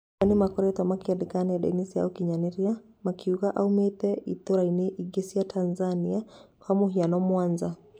Amwe nĩmakoretwo makĩandĩka nendainĩ cĩa ũkinyanĩria makiuga aumĩte itaroinĩ ingĩ cia Tanzania kwa mũhiano, Mwanza.